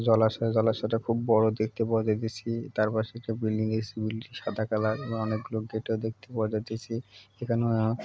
জলাশয় জলাশয়টা খুব বড় দেখতে বলেতাছি তারপাশে একটা বিল্ডিং - এর স্কুল সাদা কালার এবং অনেক গুলো গেটও দেখতে বলেদিছি এখানেও --